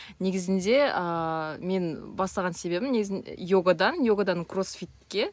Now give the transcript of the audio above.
негізінде ааа мен бастаған себебім йогадан йогадан кроссфитке